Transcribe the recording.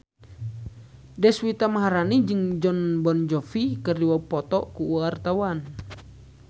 Deswita Maharani jeung Jon Bon Jovi keur dipoto ku wartawan